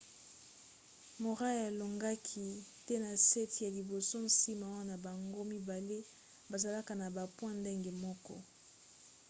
murray alongaki te ne set ya liboso nsima wana bango mibale bazalaka na ba point ndenge moko